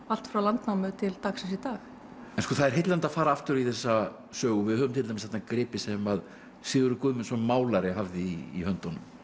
allt frá landnámi til dagsins í dag það er heillandi að fara aftur í þessa sögu og við höfum til dæmis þarna gripi sem Sigurður Guðmundsson málari hafði í höndunum